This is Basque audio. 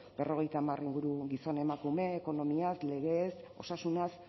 berrogeita hamar inguru gizon emakume ekonomiaz legeez osasunaz